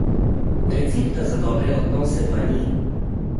Recepta za dobre odnose pa ni.